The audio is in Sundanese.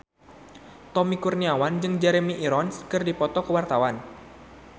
Tommy Kurniawan jeung Jeremy Irons keur dipoto ku wartawan